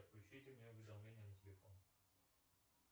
отключите мне уведомления на телефон